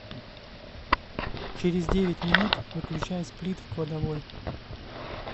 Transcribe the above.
через девять минут выключай сплит в кладовой